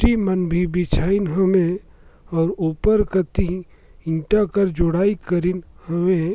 गिट्टी मन भी बिछाइन हे ओमे अऊ ऊपर कति ईंटा कस जोड़ई करेन हवे।